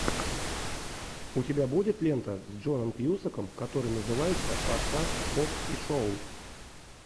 у тебя будет лента с джоном кьюсаком которая называется форсаж хоббс и шоу